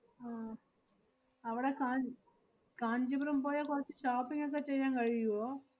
ആഹ് അവടെ കാ~ കാഞ്ചീപുരം പോയാ കൊറച്ച് shopping ഒക്കെ ചെയ്യാൻ കഴിയുവോ?